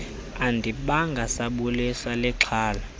andibanga sabulisa lixhala